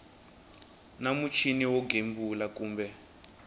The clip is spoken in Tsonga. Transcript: na muchini wo gembula kumbe